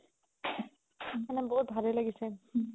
মানে বহুত ভালে লাগিছে